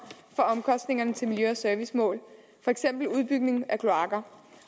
for omkostningerne til miljø og servicemål for eksempel udbygning af kloakker